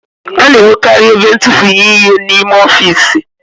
A na-enwekarị ebe ntufunye ihe n'ime ọfiisi